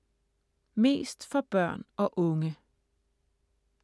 Mest for børn og unge